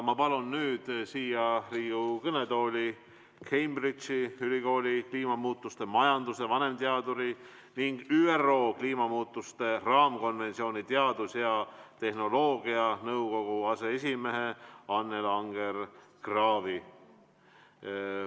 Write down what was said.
Ma palun nüüd siia Riigikogu kõnetooli Cambridge'i ülikooli kliimamuutuste majanduse vanemteaduri ning ÜRO kliimamuutuste raamkonventsiooni teadus- ja tehnoloogianõukogu aseesimehe Annela Anger-Kraavi.